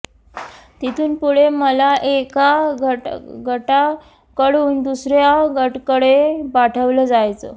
तिथून पुढे मला एका गटाकडून दुसऱ्या गटाकडे पाठवलं जायचं